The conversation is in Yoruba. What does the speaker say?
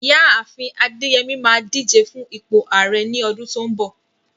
Ìyá àfin Adeyemi máa díje fún ipò Ààrẹ ní ọdún tó ń bọ̀.